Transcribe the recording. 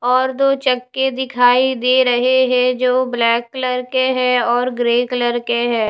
और दो चक्के दिखाई दे रहे हैं जो ब्लैक कलर के हैं और ग्रे कलर के हैं।